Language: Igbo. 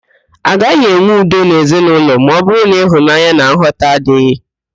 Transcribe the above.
Agaghị enwe udo n'ezinaụlọ ma ọbụrụ na ịhụnanya na nghọta adịghị